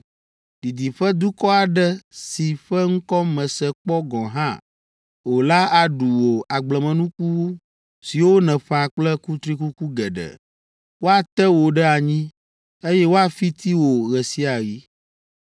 Didiƒe dukɔ aɖe si ƒe ŋkɔ mèse kpɔ gɔ̃ hã o la aɖu wò agblemenuku siwo nèƒã kple kutrikuku geɖe. Woate wò ɖe anyi, eye woafiti wò ɣe sia ɣi.